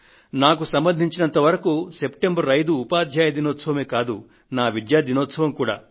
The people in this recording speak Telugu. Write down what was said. నాకు సంబంధించినంత వరకు సెప్టెంబర్ 5 ఉపాధ్యాయ దినోత్సవమే కాదు నా విద్యా దినోత్సవం కూడా